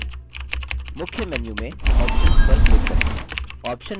मुख्य मेन्यू में options पर क्लिक करें